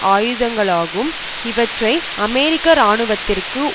ஆயுதங்களாகும் இவற்றை அமெரிக்க இராணுவத்திற்கு